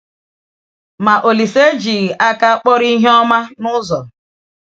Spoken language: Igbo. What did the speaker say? Ma Ȯlísè ejighịkwa aka kpọrọ ihe ọma n’ụzọ.